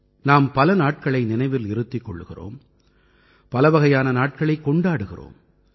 நாம் பல நாட்களை நினைவில் இருத்திக் கொள்கிறோம் பலவகையான நாட்களைக் கொண்டாடுகிறோம்